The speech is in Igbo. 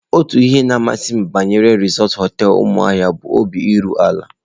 Otu ihe na-amasị m banyere Resort hoteelu Umuahia bụ obi iru ala.